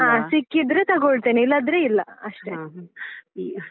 ಹ ಸಿಕ್ಕಿದ್ರೆ ತಗೊಳ್ಳ್ತೇನೆ ಇಲ್ಲಾದ್ರೆ ಇಲ್ಲಾ ಅಷ್ಟೇ .